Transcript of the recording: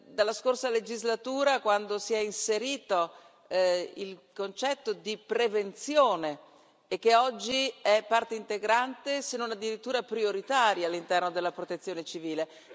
dalla scorsa legislatura, quando si è inserito il concetto di prevenzione, che oggi è parte integrante, se non addirittura prioritaria all'interno della protezione civile.